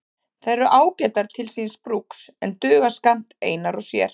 Þær eru ágætar til síns brúks en duga skammt einar og sér.